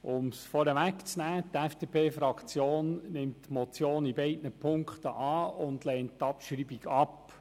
Um es vorneweg zu nehmen, die FDP-Fraktion nimmt die Motion in beiden Punkten an und lehnt die Abschreibung ab.